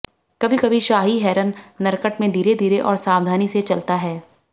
कभी कभी शाही हेरन नरकट में धीरे धीरे और सावधानी से चलता है